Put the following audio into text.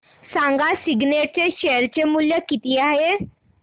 सांगा सिग्नेट चे शेअर चे मूल्य किती आहे